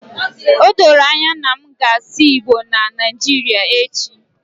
Odoro anya na m ga-asụ igbo na Naijiria echi